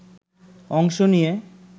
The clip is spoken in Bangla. অংশ নিয়ে